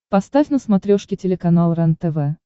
поставь на смотрешке телеканал рентв